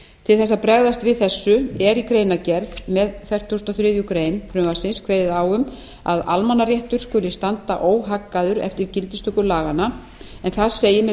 til þess að bregðast við þessu er í greinargerð með fertugustu og þriðju greinar frumvarpsins kveðið á um að almannaréttur skuli standa óhaggaður eftir gildistöku laganna en þar segir með